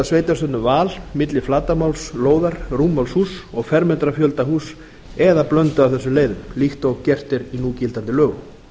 sveitarstjórnum val milli flatarmáls lóðar rúmmáls húss og fermetrafjölda húss eða blöndu af þessum leiðum líkt og gert er í núgildandi lögum